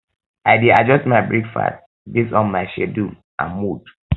i dey adjust my breakfast based on my schedule and mood